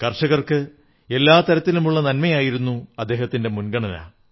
കർഷകർക്ക് എല്ലാ തരത്തിലുമുള്ള നന്മയായിരുന്നു അദ്ദേഹത്തിന്റെ മുൻഗണന